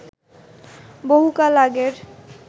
বহু কাল আগের